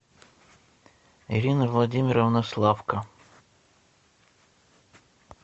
ирина владимировна славко